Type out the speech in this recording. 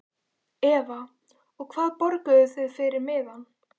Eva: Og hvað borguðuð þið fyrir miðann?